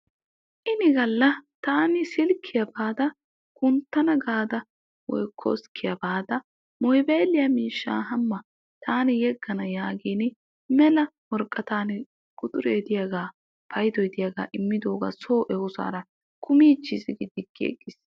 Ini gallataani silkkiyaa baada kunttana gaada koskkiyaa baada mobayliyaa miishshaa hamma taani yeggana yaagin mela woraqatan quxuree de'iyaagaa paydoy de'iyaagaa immidoogaa soo ehosaara kumichchis gi diggigis.